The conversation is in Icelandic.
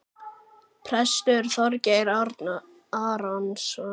Prestur Þorgeir Arason.